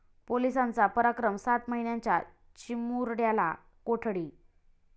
पोलिसांचा पराक्रम, सात महिन्यांच्या चिमुरड्याला कोठडी